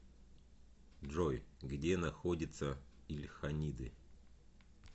джой где находится ильханиды